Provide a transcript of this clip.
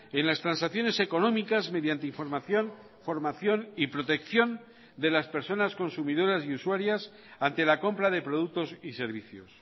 en las transacciones económicas mediante información formación y protección de las personas consumidoras y usuarias ante la compra de productos y servicios